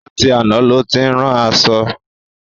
Látì aná ló ti ń rán aṣọ̣.